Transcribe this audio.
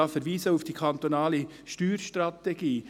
Ich verweise hier auf die kantonale Steuerstrategie.